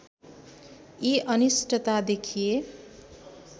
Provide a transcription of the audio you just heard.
यी अनिष्टता देखिए